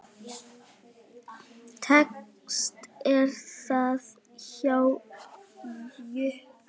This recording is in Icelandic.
Lekt er þak hjá Jukka.